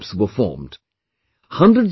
Many WhatsApp groups were formed